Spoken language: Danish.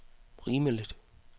rimeligt